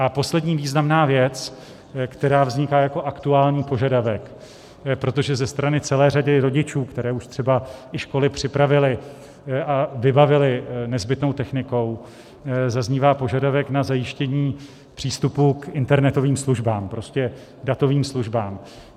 A poslední významná věc, která vzniká jako aktuální požadavek, protože ze strany celé řady rodičů, které už třeba i školy připravily a vybavili nezbytnou technikou, zaznívá požadavek na zajištění přístupu k internetovým službám, prostě datovým službám.